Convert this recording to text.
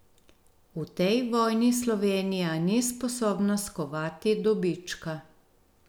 V tej vojni Slovenija ni sposobna skovati dobička.